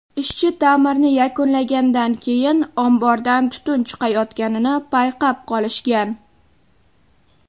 Ishchi ta’mirni yakunlaganidan keyin, ombordan tutun chiqayotganini payqab qolishgan.